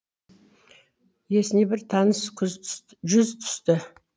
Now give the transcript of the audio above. есіне бір таныс жүз түсті